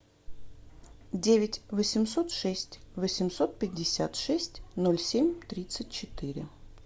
девять восемьсот шесть восемьсот пятьдесят шесть ноль семь тридцать четыре